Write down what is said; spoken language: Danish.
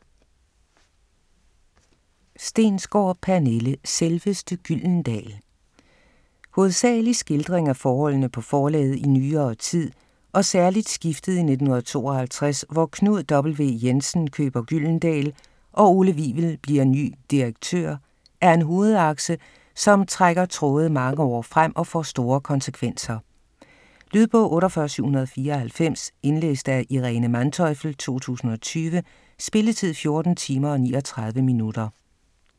Stensgaard, Pernille: Selveste Gyldendal Hovedsageligt skildring af forholdene på forlaget i nyere tid, og særligt skiftet i 1952, hvor Knud W. Jensen køber Gyldendal og Ole Wivel bliver ny direktør, er en hovedakse, som trækker tråde mange år frem og får store konsekvenser. Lydbog 48794 Indlæst af Irene Manteufel, 2020. Spilletid: 14 timer, 39 minutter.